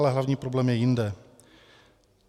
Ale hlavní problém je jinde.